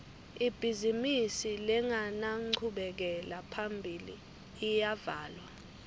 ibhizimisi lengenanchubekela phambili iyavalwa